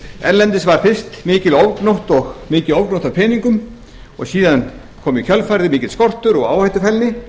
erlendis var fyrst mikil ofgnótt af peningum og síðan kom í kjölfarið mikill skortur og áhættufælni